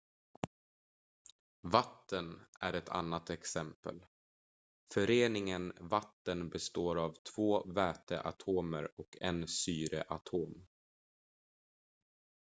vatten är ett annat exempel föreningen vatten består av två väteatomer och en syreatom